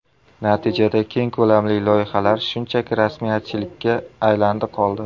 Natijada keng ko‘lamli loyihalar shunchaki rasmiyatchilikka aylandi-qoldi.